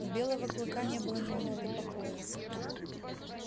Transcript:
у белого клыка не было ни минуты покоя